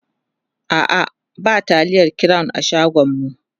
a'a ba taliyar crown a unguwanmu